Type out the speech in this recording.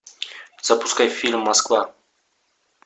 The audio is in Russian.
запускай фильм москва